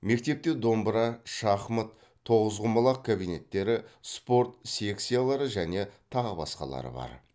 мектепте домбыра шахмат тоғызқұмалақ кабинеттері спорт секциялары және тағы басқалары бар